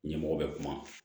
Ɲɛmɔgɔ bɛ kuma